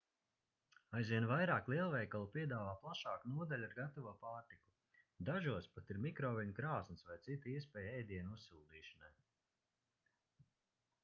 aizvien vairāk lielveikalu piedāvā plašāku nodaļu ar gatavo pārtiku dažos pat ir mikroviļņu krāsns vai cita iespēja ēdienu uzsildīšanai